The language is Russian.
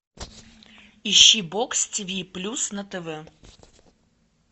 ищи бокс тиви плюс на тв